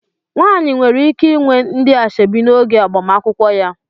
Nwaanyị nwere ike inwe ndị asoebi n'oge agbamakwụkwọ ya.